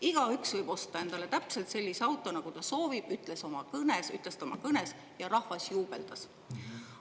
Igaüks võib osta endale täpselt sellise auto, nagu ta soovib, ütles ta oma kõnes ja rahvas juubeldas.